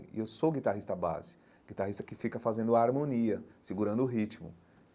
E e eu sou o guitarrista base, guitarrista que fica fazendo a harmonia, segurando o ritmo.